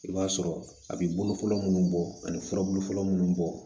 I b'a sɔrɔ a bi bolo fɔlɔ munnu bɔ ani furabulu fɔlɔ munnu bɔ